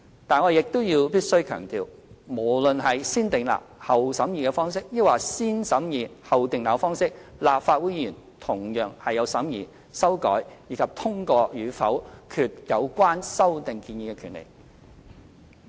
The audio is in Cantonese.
但是，我亦必須要強調，無論是"先訂立後審議"方式或"先審議後訂立"方式，立法會議員同樣有審議、修改，以及通過與否決有關修訂建議的權力。